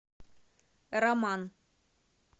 роман